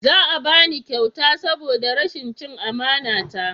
Za a bani kyauta saboda rashin cin amana ta